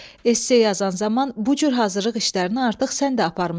Ess yazan zaman bu cür hazırlıq işlərini artıq sən də aparmısan.